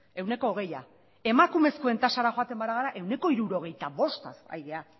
ehuneko hogeia emakumezkoen tasara joaten bagara ehuneko hirurogeita bostaz ari gara